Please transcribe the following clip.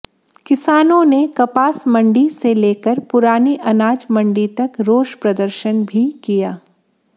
किसानों ने कपास मंडी से लेकर पुरानी अनाज मंडी तक रोष प्रदर्शन भी किया